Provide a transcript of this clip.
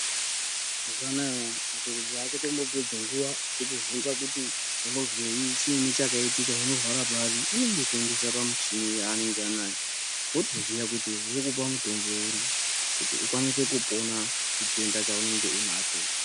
Mazuwanaya madhokotera achatombopedzi nguwa echikubvunza kuti unozwei chiini chakaitika unorwara pari anongokuendesa pamichini yaanenge anayo votoziya kuti uri kupuwa mutombo uri kuti ukwanise kupona chitenda chaunenge unacho.